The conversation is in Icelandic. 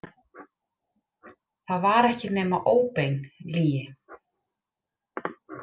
Það var ekki nema óbein lygi.